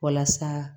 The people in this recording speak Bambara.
Walasa